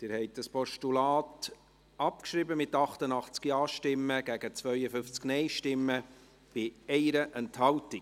Sie haben das Postulat abgeschrieben, mit 88 Ja- gegen 52 Nein-Stimmen bei 1 Enthaltung.